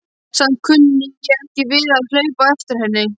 Samt kunni ég ekki við að hlaupa á eftir henni.